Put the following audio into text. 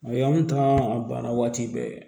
O y'anw ta a banna waati bɛɛ